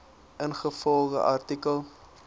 ingevolge artikel